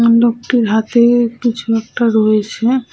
ওই লোকটির হাতে-এ কিছু একটা রয়েছে।